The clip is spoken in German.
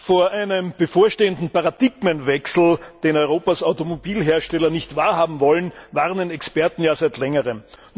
Vor einem bevorstehenden Paradigmenwechsel, den Europas Automobilhersteller nicht wahrhaben wollen, warnen Experten ja seit längerem.